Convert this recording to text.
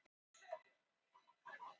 Slökkviliðið fór í Hörpuna